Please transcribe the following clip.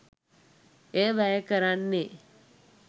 එය වැය කරන්නේ